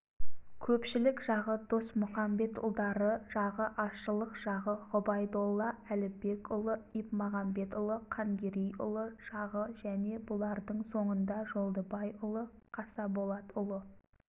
көпшілік жағы досмұқамбетұлдары жағы азшылық жағы ғұбайдолла әлібекұлы ипмағамбетұлы қангерейұлы жағы және бұлардың соңында жолдыбайұлы қасаболатұлы